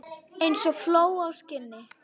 Eins og fló á skinni.